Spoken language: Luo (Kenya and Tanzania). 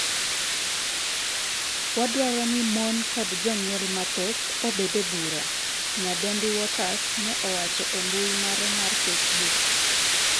"Wadwaro ni mon kod jonyuol mathoth obed e bura", nyadendi Waters ne owacho e mbui mare mar Facebook.